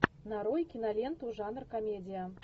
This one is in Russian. нарой киноленту жанр комедия